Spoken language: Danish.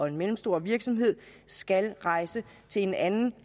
en mellemstor virksomhed skal rejse til en anden